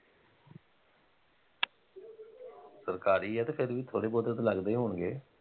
ਸਰਕਾਰੀ ਆ ਤੇ ਫੇਰ ਵੀ ਥੋੜੇ ਬਹੁਤੇ ਤਾਂ ਲੱਗਦੇ ਹੀ ਹੋਣਗੇ।